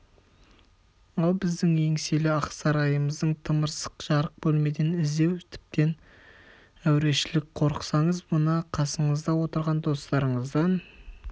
ал біздің еңселі ақ сарайымыздың тымырсық жарық бөлмеден іздеу тіптен әурешілік қорықсаңыз мына қасыңызда отырған достарыңыздан